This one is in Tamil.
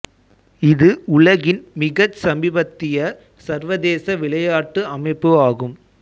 இது உலகின் மிகச் சமீபத்திய சர்வதேச விளையாட்டு அமைப்பு ஆகும்